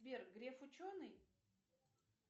сбер греф ученый